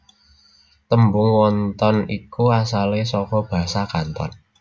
Tembung wonton iku asalé saka basa Kanton